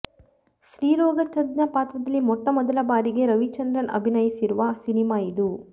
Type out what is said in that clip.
ಸ್ತ್ರೀ ರೋಗ ತಜ್ಞ ಪಾತ್ರದಲ್ಲಿ ಮೊಟ್ಟ ಮೊದಲ ಬಾರಿಗೆ ರವಿಚಂದ್ರನ್ ಅಭಿನಯಿಸಿರುವ ಸಿನಿಮಾ ಇದು